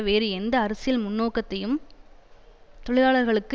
வேறு எந்த அரசியல் முன்னோக்கையும் தொழிலாளர்களுக்கு